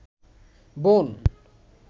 বোন